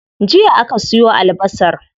Jiya aka siyo albasar.